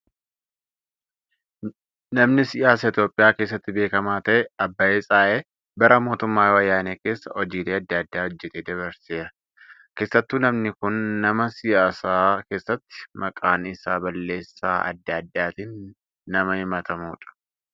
Namni siyaasa Itoophiyaa keessatti beekamaa ta'e Abbaay Tsahaayee bara mootummaa wayyaanee keessa hojiilee adda addaa hojjatee dabarseera. Keessattuu namni kun nama siyaasa keessatti maqaan isaa balleessaa adda addaatiin nama hamatamudha.